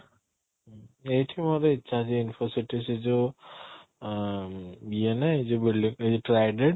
ଏଇଠି ମୋତେ ଇଚ୍ଛା ଅଛି Infocity ସେ ଯୋଉ ଅଂ ଇଏ ନାଇଁ ଯଉ ଏଇ ଯଉ trident